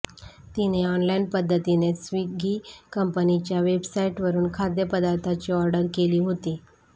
तिने ऑनलाईन पध्दतीने स्विगी कंपनीच्या वेबसाईटवरुन खाद्य पदार्थाची ऑर्डर केली होती